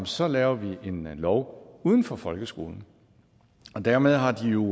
så laver vi en lov uden for folkeskolen dermed har de jo